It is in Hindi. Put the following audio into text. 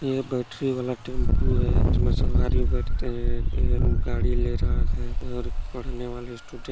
ये बैटरी वाला टेम्पू है जिमे सवारी बैठते है ये गाड़ी ले रा रहा है और पढ़ने वाले स्टूडेंट --